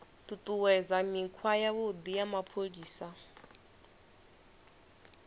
ṱuṱuwedza mikhwa yavhuḓi ya mapholisa